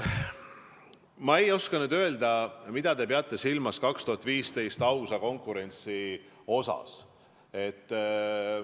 Ma ei oska öelda, mida te peate silmas 2015. aasta ausa konkurentsi puhul.